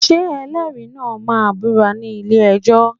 Ṣé ẹlẹ́rìí náà máa búra ní ilé-ẹjọ́?